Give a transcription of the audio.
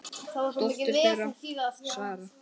Dóttir þeirra: Sara.